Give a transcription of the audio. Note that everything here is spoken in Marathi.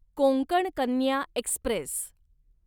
कोंकण कन्या एक्स्प्रेस